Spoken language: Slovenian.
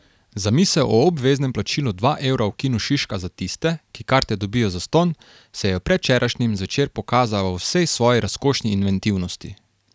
Zamisel o obveznem plačilu dva evra v Kinu Šiška za tiste, ki karte dobijo zastonj, se je predvčerajšnjim zvečer pokazala v vsej svoji razkošni inventivnosti.